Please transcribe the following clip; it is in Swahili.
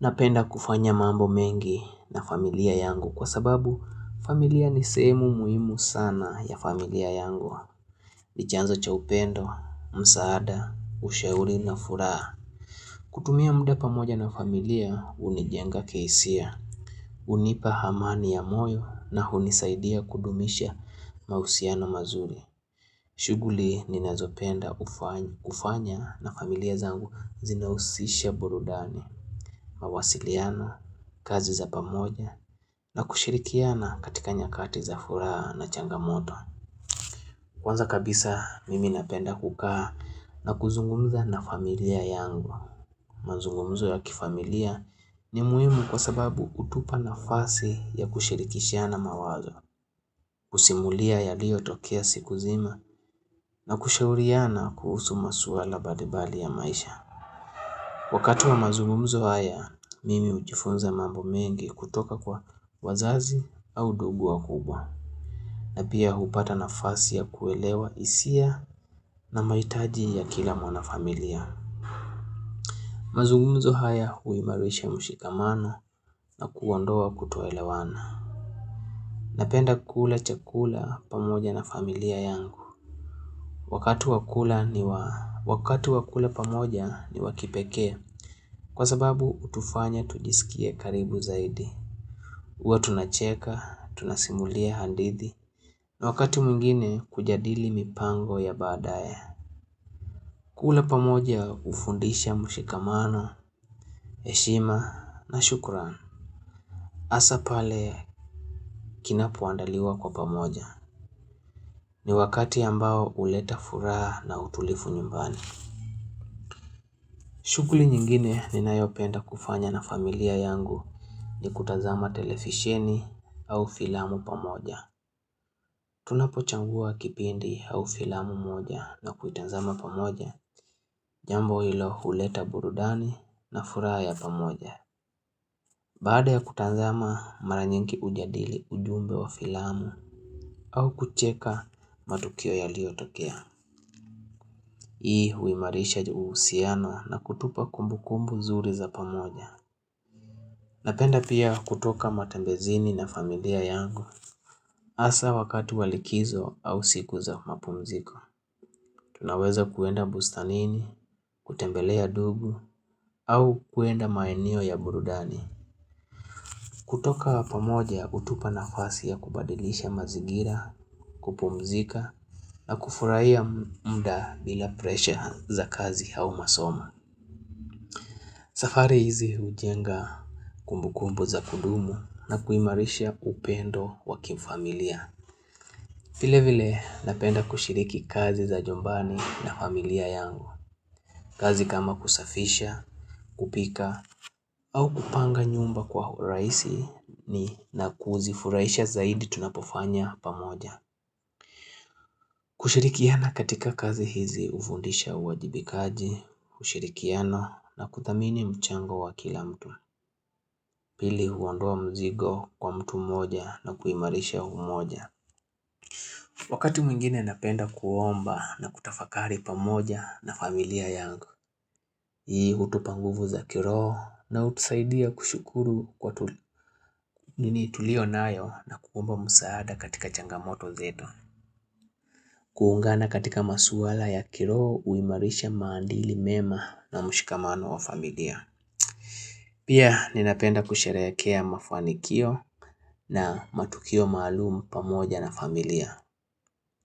Napenda kufanya mambo mengi na familia yangu kwa sababu familia ni semu muimu sana ya familia yangu. Nijanzo cha upendo, msaada, ushauri na furaa. Kutumia mda pamoja na familia hunijenga kihisia. Hunipa amani ya moyo na unisaidia kudumisha mahusiano mazuri. Shuguli ni nazopenda ufanya na familia zangu zinausisha burudani. Mawasiliano, kazi za pamoja na kushirikiana katika nyakati za furaha na changamoto Kwanza kabisa mimi napenda kukaa na kuzungumza na familia yangu Manzungumzo ya kifamilia ni muhimu kwa sababu utupa na fasi ya kushirikishiana mawazo kusimulia ya lio tokia siku zima na kushauriana kuhusu masuala badibali ya maisha Wakati wa mazungumzo haya, mimi ujifunza mambo mengi kutoka kwa wazazi au dugu wa kubwa. Napia hupata na fasi ya kuelewa isia na maitaji ya kila mwana familia. Mazungumzo haya huimarisha mshikamana na kuoandoa kutoelewana. Napenda kula chakula pamoja na familia yangu. Wakati wakula ni waa. Wakatu wakule pamoja ni wakipekee. Kwa sababu utufanya tujisikie karibu zaidi. Uwe tunacheka, tunasimulia handithi, na wakati mwingine kujadili mipango ya baadae. Kula pamoja ufundisha mshikamano, heshima na shukuran. Asa pale kinapuandaliwa kwa pamoja, ni wakati ambao uleta furaha na utulifu nyumbani. Shukuli nyingine ni nayopenda kufanya na familia yangu ni kutazama televisheni au filamu pamoja. Tunapo changua kipindi au filamu moja na kuitanzama pamoja Jambo ilo huleta burudani na fura ya pamoja Baada ya kutazama, mara nyingi ujadili ujumbe wa filamu au kucheka matukio ya yaliyotokea Hii huimarisha uhusiano na kutupa kumbu kumbu zuri za pamoja Napenda pia kutoka matembezini na familia yangu Asa wakati walikizo au siku za mapumziko Tunaweza kuenda bustanini, kutembelea ndugu au kuenda maeneo ya burudani. Kutoka pamoja hutupa nafasi ya kubadilisha mazingira, kupumzika na kufurahia mda bila presha za kazi au masomo. Safari hizi hujenga, kumbukumbu za kudumu, na kuimarisha upendo wakifamilia. Vile vile napenda kushiriki kazi za nyumbani na familia yangu, kazi kama kusafisha, kupika, au kupanga nyumba kwa urahisi na nafurahia zaidi tunapofanya pamoja. Kushirikiana katika kazi hizi hufundisha uwajibikaji, kushirikiano na kudhamini mchango wa kila mtu. Pili huondoa mzigo kwa mtu moja na kuimarisha umoja. Wakati mwingine napenda kuomba na kutafakari pamoja na familia yangu. Hii hutupanguvu za kiroho na hutusaidia kushukuru kwa nini tulio nayo na kuomba msaada katika changamoto zetu. Kuungana katika maswala ya kiroho huimarisha maandili mema na mushikamano wa familia. Pia ninapenda kusherehekea mafanikio na matukio maalumu pamoja na familia.